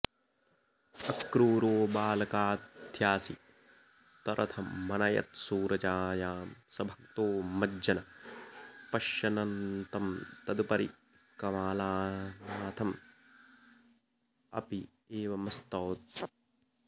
अक्रूरो बालकाध्यासितरथमनयत्सूरजायां स भक्तो मज्जन् पश्यन्ननन्तं तदुपरि कमलानाथमप्येवमस्तौत्